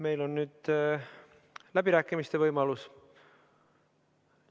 Meil on nüüd läbirääkimiste võimalus.